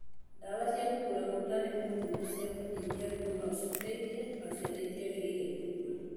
Ndawa cia kũgũra ũtarĩ mũthime cia kũnyihia ruo no citeithie, no ciana citiagĩrĩire kũnyua.